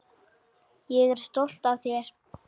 Ég er stolt af þér.